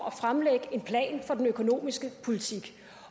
at fremlægge en plan for den økonomiske politik